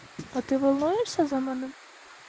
а ты волнуешься за нами